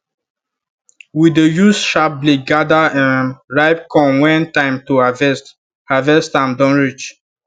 we dey use sharp blade gather um ripe corn when time to harvest harvest am don reach